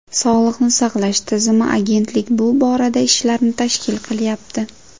Sog‘liqni saqlash tizimi, agentlik bu borada ishlarni tashkil qilyapti.